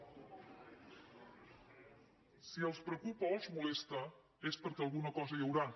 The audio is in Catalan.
si els preocupa o els molesta és perquè alguna cosa hi deu haver